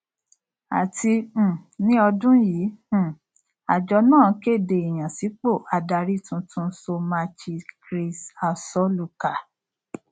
àti um ní ọdún yìí um àjọ náà kéde ìyànsípò adarí tuntun somachi chris asoluka